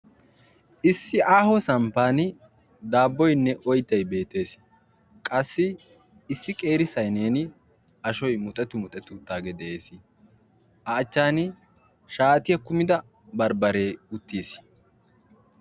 Issi aaho samppani daabboynne oyttay beettes qassi qeeri sayineen ashoy muxetti muxetti uttaage de'ees a achchan shaatiyaa kuma barbaare uttiis.